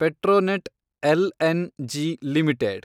Petronet LNG limited